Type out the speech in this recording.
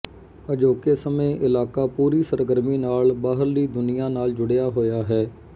ਅਜੋਕੇ ਸਮੇਂ ਇਲਾਕਾ ਪੂਰੀ ਸਰਗਰਮੀ ਨਾਲ ਬਾਹਰਲੀ ਦੁਨੀਆ ਨਾਲ ਜੁੜਿਆ ਹੋਇਆ ਹੈ